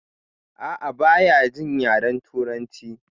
A'a baya jin yaren turanci